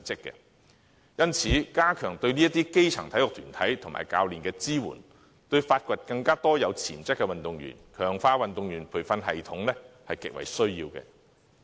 因此，加強對基層體育團體及教練的支援，對發掘更多有潛質的運動員、強化運動員培育系統是極為重要的。